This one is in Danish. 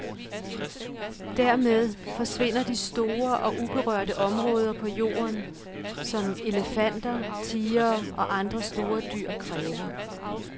Dermed forsvinder de store og uberørte områder på jorden, som elefanter, tigere og andre store dyr kræver.